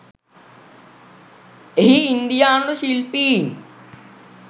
එහි ඉන්දියානු ශිල්පීන්